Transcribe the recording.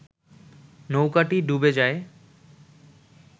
নৌকাটি ডুবে যায়